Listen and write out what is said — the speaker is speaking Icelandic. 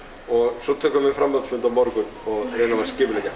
og svo tökum við framhaldsfund á morgun og reynum að skipuleggja